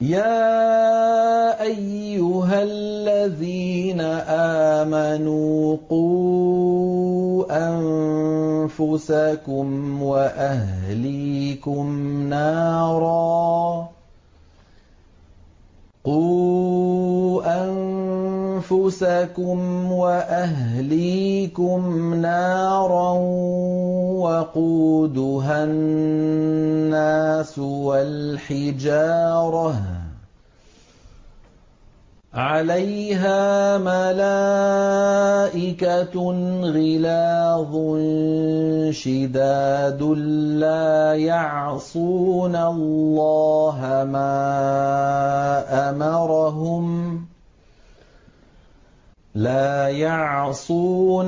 يَا أَيُّهَا الَّذِينَ آمَنُوا قُوا أَنفُسَكُمْ وَأَهْلِيكُمْ نَارًا وَقُودُهَا النَّاسُ وَالْحِجَارَةُ عَلَيْهَا مَلَائِكَةٌ غِلَاظٌ شِدَادٌ لَّا يَعْصُونَ